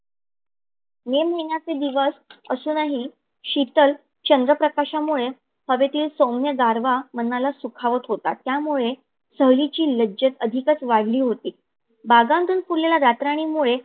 मे महिन्याचे दिवस असूनही शीतल चंद्र प्रकाशामुळे हवेतीईल सौम्य गारवा मनाला सुखावत होता. त्यामुळे सहलीईची लज्जत अधिकच वाढली होती. बागातून फुलेल्या रातराणीमुळे